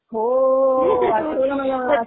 हो, आठवलं मला.